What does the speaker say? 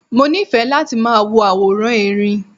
Mo nífẹ̀ẹ́ láti máa wo àwòrán Erin.